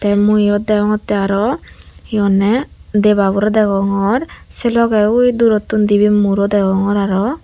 tey mui iyot degongottey aro hi honney debaborey degongor sei logey ui durottun dibey muro degongor aro.